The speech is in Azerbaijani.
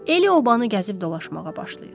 Elə obanı gəzib dolaşmağa başlayır.